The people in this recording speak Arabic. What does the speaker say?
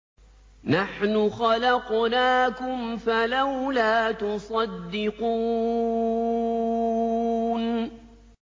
نَحْنُ خَلَقْنَاكُمْ فَلَوْلَا تُصَدِّقُونَ